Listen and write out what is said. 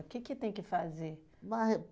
O que que tem que fazer? Mai